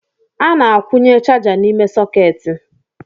A na-akwunye chaja n’ime sọketi